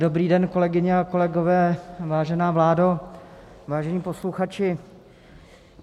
Dobrý den, kolegyně a kolegové, vážená vládo, vážení posluchači.